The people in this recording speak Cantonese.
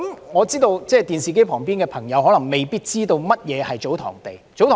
我知道電視機旁的朋友未必知道祖堂地是甚麼。